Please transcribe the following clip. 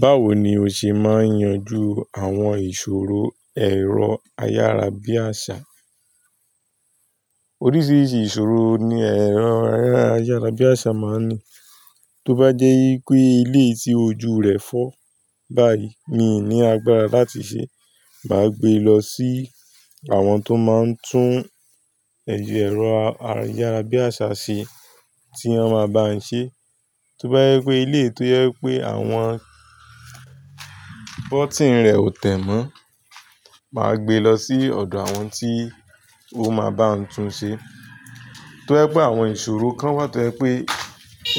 Báwo ni o ṣe máa ń yanjú àwọn ìṣòro ẹ̀rọ ayárabíàṣá? Oríṣiríṣi ìṣòro ni ẹ̀rọ ayárabíàṣá máa ń ní. Tó bá jẹ́ wípé ilé tí ojú rẹ̀ fọ́ báyìí mi ní agbára láti ṣe, màá gbé e lọ sí àwọn tó máa ń tún ẹ̀yà ẹ̀rọ ayárabíàṣá ṣe tí wọ́n máa bá mi ṣe. Tó bá jẹ́ pé ilé tó jẹ́ pé àwọn bọ́tìnnì rẹ̀ ò tẹ̀ mọ́, màá gbé e lọ sí ọ̀dọ̀ àwọn tí ó máa bá mi tún un ṣe. Tó yẹ pé àwọn ìṣòro kan wà tó yẹ pé